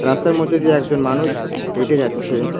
রাস্তার মধ্যে দিয়ে একজন মানুষ হেঁটে যাচ্ছে।